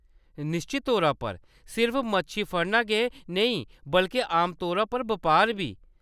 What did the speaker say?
निश्चत तौरा पर ! सिर्फ मच्छी फड़ना गै नेईं बल्के आमतौरा पर बपार बी ।